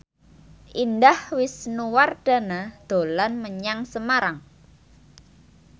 Indah Wisnuwardana dolan menyang Semarang